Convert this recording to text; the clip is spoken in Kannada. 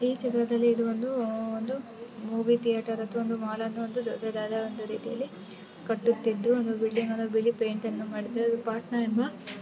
ಈ ಚಿತ್ರದಲ್ಲಿ ಇದು ಒಂದು ಒಂದು ಮೂವಿ ಥಿಯೇಟರ್ದುಅಥವಾ ಒಂದು ಮಾಲ್ ಅನ್ನೂ ಒಂದು ದೊಡ್ಡದಾದ ಒಂದು ರೀತಿಯಲ್ಲಿ ಕಟ್ಟುತಿದ್ದು ಒಂದು ಬಿಲ್ಡಿಂಗ್ ನ್ನು ಬಿಳಿ ಪೈಂಟ್ ಅನ್ನೂ ಮಾಡುತ್ತಾ ಇದ್ದು. ಪಟ್ನಾ ಎಂಬಾ --